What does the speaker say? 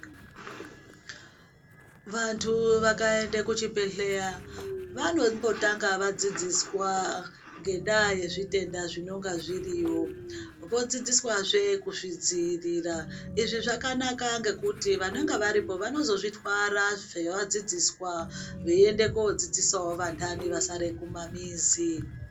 Vantu vakaende kuchibhedhleya vanombotanga vadzidziswa ngendaya yezvitenda zvinonga zviriyo vodzidziswazve kuzvidziirira izvi zvakanaka ngekuti vanenge varipo vanozozvitwara zvavadzidziswa veiende kodzidzisawo vantani vasare kumamizi.